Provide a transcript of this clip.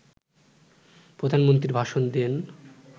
প্রধানমন্ত্রী ভাষণ দেন